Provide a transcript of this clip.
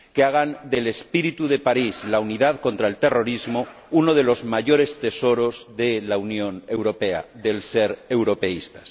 Que hagan del espíritu de París, la unidad contra el terrorismo, uno de los mayores tesoros de la Unión Europea, del ser europeístas.